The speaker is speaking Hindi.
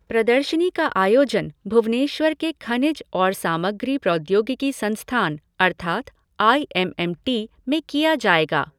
प्रदर्शनी का आयोजन भुवनेश्वर के खनिज और सामग्री प्रौद्योगिकी संस्थान अर्थात् आई एम एम टी में किया जाएगा।